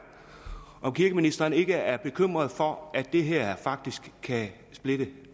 om kirkeministeren ikke er bekymret for at det her faktisk kan splitte